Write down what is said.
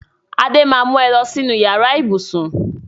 Adé máa mu ẹ lọ sínú yàrá ibùsùn